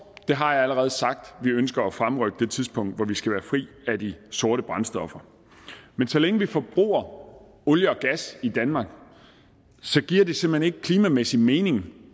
det har jeg allerede sagt vi ønsker at fremrykke det tidspunkt hvor vi skal være fri af de sorte brændstoffer men så længe vi forbruger olie og gas i danmark giver det simpelt hen ikke klimamæssigt mening